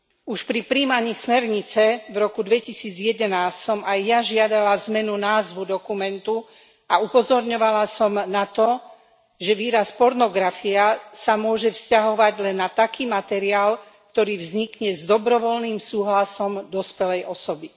Už pri prijímaní smernice v roku 2011 som aj ja žiadala zmenu názvu dokumentu a upozorňovala som na to, že výraz pornografia sa môže vzťahovať len na taký materiál, ktorý vznikne s dobrovoľným súhlasom dospelej osoby.